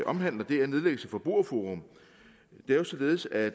omhandler er nedlæggelse af forbrugerforum det er jo således at